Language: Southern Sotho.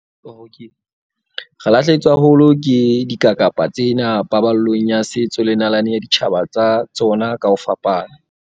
Re lahlehetswe haholo ke dikakapa tsena paballong ya setso le nalane ya ditjhaba tsa tsona ka ho fapana.